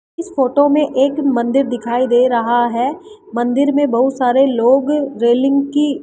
इस फोटो में एक मंदिर दिखाई दे रहा है मंदिर में बहुत सारे लोग रेलिंग की --